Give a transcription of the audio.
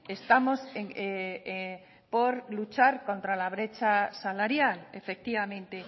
estamos por luchar contra la brecha salarial efectivamente